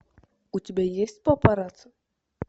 у тебя есть папарацци